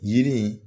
Yiri